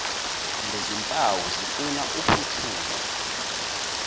lezimpawu zifuna uphuthume